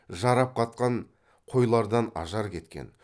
жарап қатқан қойлардан ажар кеткен